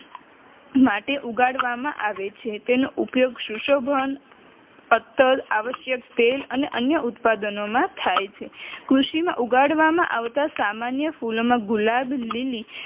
માટે ઉગાડવામાં આવે છે તેનો ઉપયોગ સુશોભન અત્તર આવશ્યક તેલ અને અન્ય ઉત્પાદનોમાં થાય છે કૃષિમાં ઉગાડવામાં આવતા સામાન્ય ફૂલોમાં ગુલાબ, લીલી